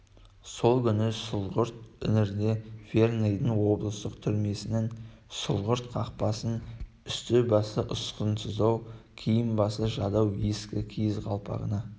сол күні сұрғылт іңірде верныйдың облыстық түрмесінің сұрғылт қақпасын үсті-басы ұсқынсыздау киім-басы жадау ескі киіз қалпағына